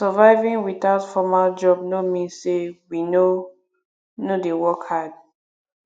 surviving without formal job no mean sey we no no dey work hard